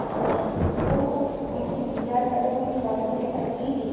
और वो उनके विचार अगर हम फॉलो करें असली जी --